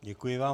Děkuji vám.